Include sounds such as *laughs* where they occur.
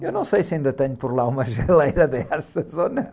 Eu não sei se ainda tenho por lá uma geleira dessas *laughs* ou não.